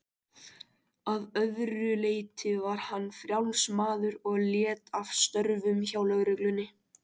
Að öðru leyti var hann frjáls maður og lét af störfum hjá lögreglunni.